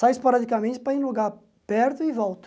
Saio esporadicamente para ir em lugar perto e volto.